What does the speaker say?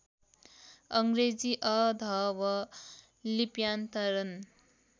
अङ्ग्रेजी अ॰ध॰व॰ लिप्यान्तरण